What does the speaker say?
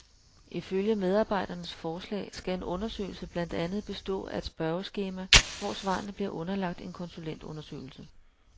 Ifølge medarbejdernes forslag skal en undersøgelse blandt andet bestå af et spørgeskema, hvor svarene bliver underlagt en konsulentundersøgelse.